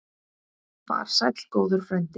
Far sæll góður frændi.